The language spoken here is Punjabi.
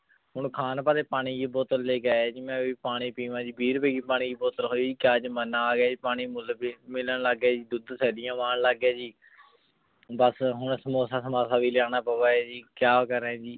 ਹੁਣ ਖਾਂ ਵਾਸ੍ਟੀ ਪਾਣੀ ਦੀ ਬੋਤਲ ਲੇ ਕੇ ਯਾ ਜੀ ਮੈਂ ਆਪਣੀ ਪਾਣੀ ਪੀਵਾਂ ਵੀ ਰੂਪੀ ਦੀ ਪਾਣੀ ਦੀ ਬੋਤਲ ਹੂਊਇ ਕ੍ਯਾ ਜਮਾਨਾ ਆਗਯਾ ਜੀ ਪਾਣੀ ਮੋਉਲ ਮਿਲਣ ਲਾਗ ਗਯਾ ਜੀ ਦੋਧ ਤਨ ਠੇਲਿਯਾਂ ਮਾਂ ਆਂ ਲਾਗ ਗਯਾ ਜੀ ਬਾਸ ਹੁਣ ਸਮੋਸਾ ਸਮਸਾ ਵੀ ਲਾਯਾਨਾ ਪਾਵੀ ਹੈ ਜੀ ਕਿਆ ਕਰੇਂ